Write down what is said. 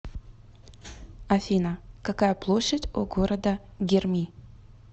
афина какая площадь у города герми